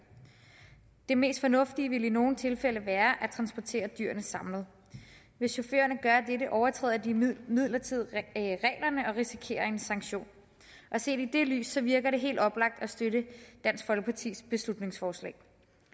det mest fornuftige ville i nogle tilfælde være at transportere dyrene samlet hvis chaufførerne gør dette overtræder de imidlertid reglerne og risikerer en sanktion set i det lys virker det helt oplagt at støtte dansk folkepartis beslutningsforslag